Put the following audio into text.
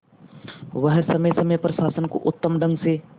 वह समय समय पर शासन को उत्तम ढंग से